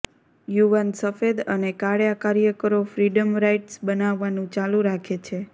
યુવાન સફેદ અને કાળા કાર્યકરો ફ્રીડમ રાઇડ્સ બનાવવાનું ચાલુ રાખે છે